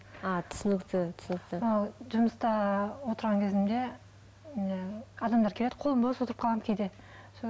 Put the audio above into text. а түсінікті түсінікті ы жұмыста отырған кезімде адамдар келеді қолым бос отырып қаламын кейде